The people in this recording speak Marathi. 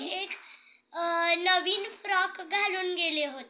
एक अ नवीन फ्रॉक घालून गेले होते